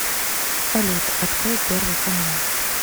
салют открой первый канал